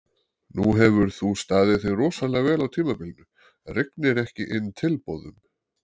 Nú hefur þú staðið þig rosalega vel á tímabilinu, rignir ekki inn tilboðum?